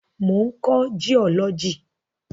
Mo ń kọ́ jiọ́lọ́jì.